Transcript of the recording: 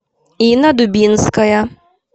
инна дубинская